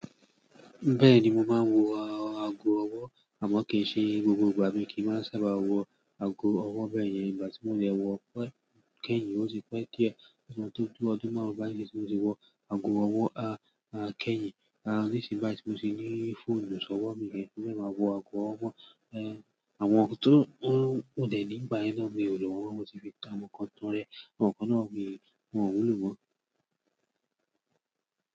Bẹ́ẹ̀ni mo máa ń wọ ago ọwọ́ àmọ́ kì í ṣe gbogbo ìgbà mo kí ń máa sábà wọ ago ọwọ́ bẹ́ẹ̀ yẹn. Ìgbà tí mo lẹ̀ wọ ago kẹ́yìn ó ti pẹ́ díẹ̀, ọdún tó dúró ọdún márùn-ún bá àíní ni mo ti wọ ago ọwọ́, a, a, kẹ́yìn, a, nísìnyí bá ti mo ti ní fóònù sọ́wọ́ mi rẹ̀ kí oníṣẹ́ máa wọ ago ọwọ́. Ehn, àwọn tó ń wòdè ní ìgbà yẹn náà ni olùwòran mo ti fi dá wọn kọkọrọ. Àwọn kan náà ni wọ̀n wù lówó.